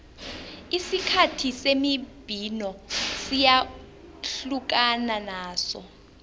isikhathi semibhino siyahlukana naso